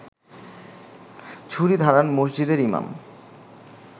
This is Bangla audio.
ছুরি ধারান মসজিদের ইমাম